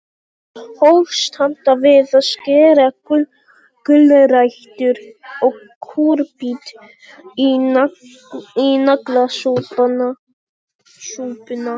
Hófst handa við að skera gulrætur og kúrbít í naglasúpuna.